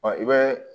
i bɛ